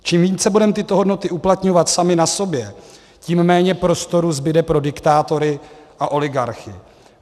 Čím více budeme tyto hodnoty uplatňovat sami na sobě, tím méně prostoru zbude pro diktátory a oligarchy.